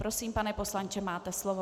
Prosím, pane poslanče, máte slovo.